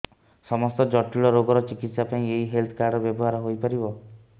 ସମସ୍ତ ଜଟିଳ ରୋଗର ଚିକିତ୍ସା ପାଇଁ ଏହି ହେଲ୍ଥ କାର୍ଡ ବ୍ୟବହାର ହୋଇପାରିବ